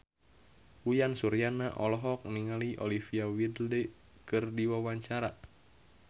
Uyan Suryana olohok ningali Olivia Wilde keur diwawancara